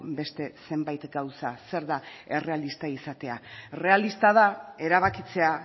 beste zenbait gauza zer da errealista izatea errealista da erabakitzea